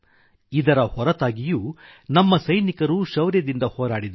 ಇದರ ಹೊರತಾಗಿಯೂ ನಮ್ಮ ಸೈನಿಕರು ಶೌರ್ಯದಿಂದ ಹೋರಾಡಿದರು